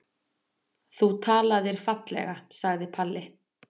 Þú talaðir fallega, sagði Palli.